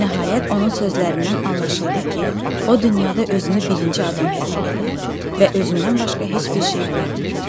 Nəhayət, onun sözlərindən anlaşıldı ki, o dünyada özünü birinci adam hesab eləyir və özündən başqa heç bir şey görmür.